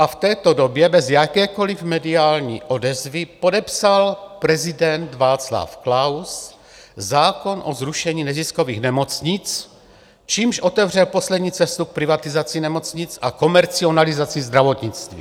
A v této době, bez jakékoliv mediální odezvy, podepsal prezident Václav Klaus zákon o zrušení neziskových nemocnic, čímž otevřel poslední cestu k privatizaci nemocnic a komercializaci zdravotnictví.